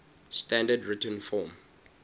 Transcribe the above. standard written form